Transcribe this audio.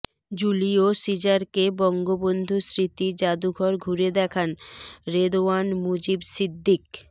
Julio সিজারকে বঙ্গবন্ধু স্মৃতি জাদুঘর ঘুরে দেখান রেদওয়ান মুজিব সিদ্দিক